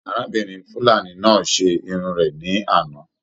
Arábìnrin fulani náà se Irun rẹ ní àná.